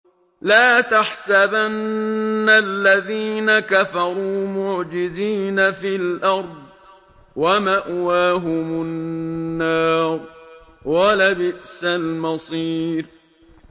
لَا تَحْسَبَنَّ الَّذِينَ كَفَرُوا مُعْجِزِينَ فِي الْأَرْضِ ۚ وَمَأْوَاهُمُ النَّارُ ۖ وَلَبِئْسَ الْمَصِيرُ